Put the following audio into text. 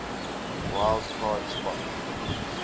wild card spot